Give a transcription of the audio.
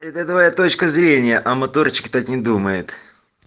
это твоя точка зрения а моторчик так не думает